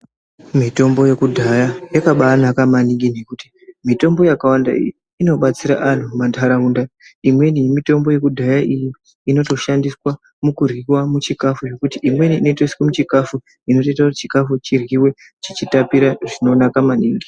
Mitombo yekudhaya yakabanaka maningi nekuti mitombo yakawanda inobetsera antu mumantaraunda. Imweni yemitombo yekudhaya iyi inotoshandiswa mukuryiva muchikafu zvekuti imweni inotoiswe muchikafu. Inotoita kuti chikafu chiryive chichitapira zvinonaka maningi.